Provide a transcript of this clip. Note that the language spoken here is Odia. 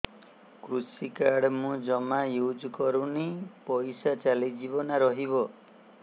କୃଷି କାର୍ଡ ମୁଁ ଜମା ୟୁଜ଼ କରିନି ପଇସା ଚାଲିଯିବ ନା ରହିବ